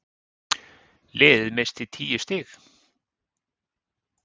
Liðið missti tíu stig.